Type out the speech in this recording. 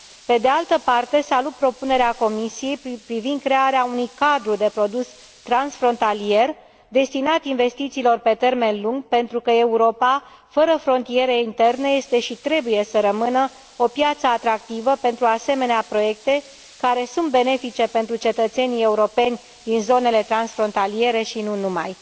Pe de altă parte, salut propunerea Comisiei privind crearea unui cadru de produs transfrontalier destinat investițiilor pe termen lung, pentru că Europa fără frontiere interne este și trebuie să rămână o piață atractivă pentru asemenea proiecte care sunt benefice pentru cetățenii europeni din zonele transfrontaliere și nu numai.